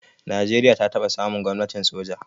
Najeriya ta taba samun gwamnatin soja.